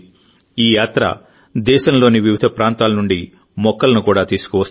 ఈ యాత్ర దేశంలోని వివిధ ప్రాంతాల నుండి మొక్కలను కూడా తీసుకువస్తుంది